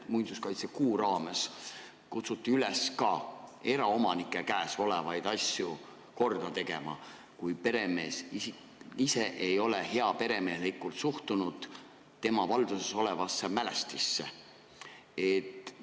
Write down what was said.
Muinsuskaitsekuu raames kutsuti üles ka eraomanike käes olevaid asju korda tegema, kui peremees ise ei ole tema valduses olevasse mälestisse heaperemehelikult suhtunud.